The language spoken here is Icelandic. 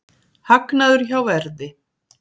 Hagnaður hjá Verði